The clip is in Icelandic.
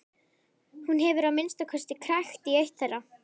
Hún hefur að minnsta kosti krækt í eitt þeirra.